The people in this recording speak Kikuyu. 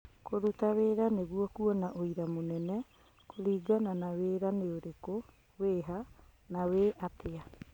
Kũruta wĩra nĩguo kuona ũira mũnene kũringana na wĩra nĩũrĩkũ, wĩha, na wĩ-atĩa.